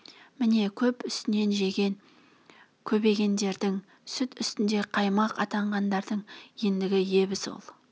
міне көп үстінен жеген көбегендердің сүт үстінде қаймақ атанғандардың ендігі ебі сол